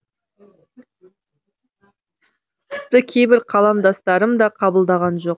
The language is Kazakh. тіпті кейбір қаламдастарым да қабылдаған жоқ